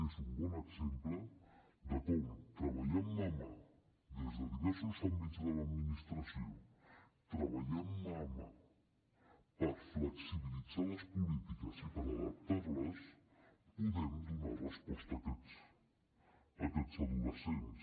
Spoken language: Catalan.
és un bon exemple de com treballant mà amb mà des de diversos àmbits de l’administració treballant mà amb mà per flexibilitzar les polítiques i per adaptar les podem donar resposta a aquests adolescents